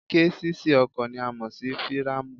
Késìsì ọkọ̀ ni a mọ̀ sí fíràmù